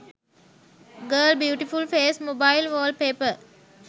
girl beautiful face mobile wallpaper